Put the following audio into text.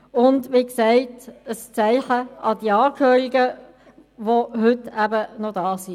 Es wäre auch ein Zeichen an die Angehörigen, welche heute noch da sind.